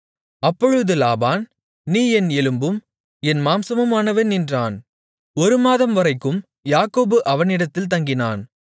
அப்பொழுது லாபான் நீ என் எலும்பும் என் மாம்சமுமானவன் என்றான் ஒரு மாதம்வரைக்கும் யாக்கோபு அவனிடத்தில் தங்கினான்